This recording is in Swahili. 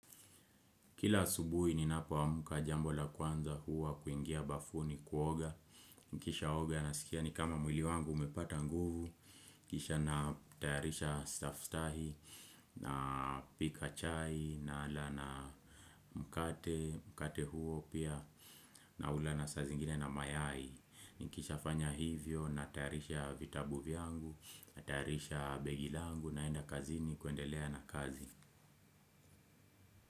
Kila asubuhi ninapo amka jambo la kwanza huwa kuingia bafuni kuoga. Nikisha oga nasikia ni kama mwili wangu umepata nguvu kisha natayarisha staftahi, napika chai na mkate mkate huo pia naula sa zingine na mayai. Nikisha fanya hivyo natayarisha vitabu vyangu natayarisha begi langu naenda kazini kuendelea na kazi.